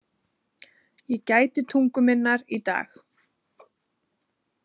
Ég gæti tungu minnar í dag.